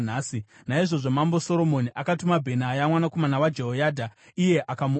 Naizvozvo Mambo Soromoni akatuma Bhenaya mwanakomana waJehoyadha, iye akamuuraya.